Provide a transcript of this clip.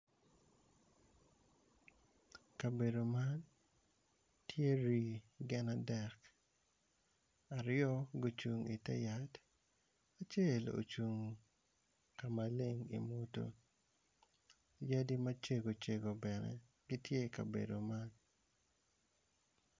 Kabedo man tye rii gin adek aryo gucung i te yat acel ocung ka maleng yadi acengo cegocengo bene gitye i kabedo man.